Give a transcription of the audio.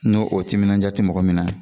N'o o timinanja te mɔgɔ min na